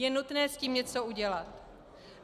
Je nutné s tím něco udělat.